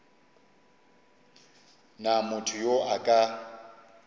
na motho yo a ka